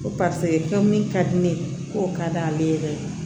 Ko ka di ne ye k'o ka d'ale yɛrɛ ye